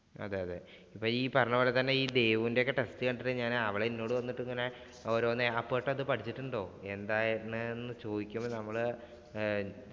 അതെയതെ, ഇപ്പ ഈ പറഞ്ഞ പോലെ തന്നെ test കണ്ടിട്ട് അവൾ എന്നോട് ഓരോന്ന് അപ്പുവേട്ടാ ഇത് പഠിച്ചിട്ടുണ്ടോ? എന്താ ഏതിനാ എന്ന് ചോദിക്കുമ്പോള്‍ നമ്മള് ആഹ്